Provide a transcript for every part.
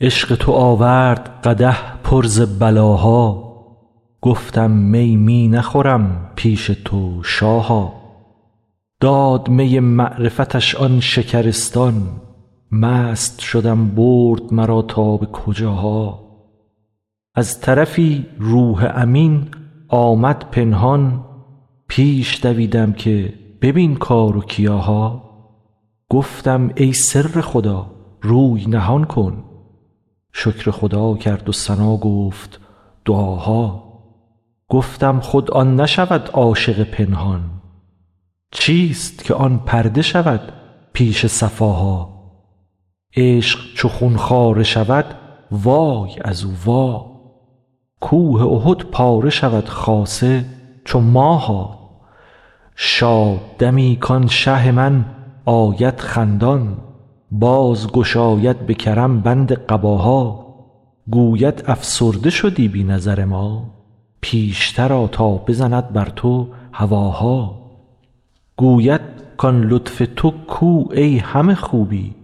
عشق تو آورد قدح پر ز بلاها گفتم می می نخورم پیش تو شاها داد می معرفتش آن شکرستان مست شدم برد مرا تا به کجاها از طرفی روح امین آمد پنهان پیش دویدم که ببین کار و کیاها گفتم ای سر خدا روی نهان کن شکر خدا کرد و ثنا گفت دعاها گفتم خود آن نشود عاشق پنهان چیست که آن پرده شود پیش صفاها عشق چو خون خواره شود وای از او وای کوه احد پاره شود خاصه چو ماها شاد دمی کان شه من آید خندان باز گشاید به کرم بند قباها گوید افسرده شدی بی نظر ما پیشتر آ تا بزند بر تو هواها گویم کان لطف تو کو ای همه خوبی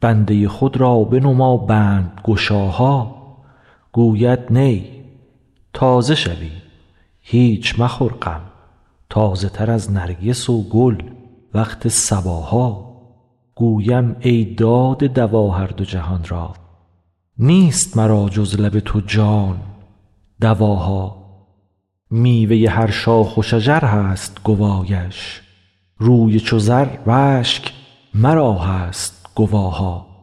بنده خود را بنما بندگشاها گوید نی تازه شوی هیچ مخور غم تازه تر از نرگس و گل وقت صباها گویم ای داده دوا هر دو جهان را نیست مرا جز لب تو جان دواها میوه هر شاخ و شجر هست گوایش روی چو زر و اشک مرا هست گواها